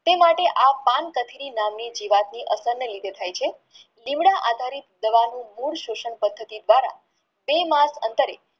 તે માટે પાન કથળી નામની જીવાત અસંદ ની રીતે થઈ છે જીવડાં આધારિત દવા નું મૂળ શોષણ પદ્ધતિ દ્વારા બે મેપ અંતરે